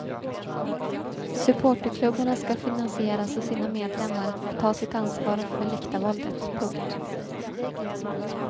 Supporterklubbarna skall finansieras av sina medlemmar och ta sitt ansvar för läktarvåldet. punkt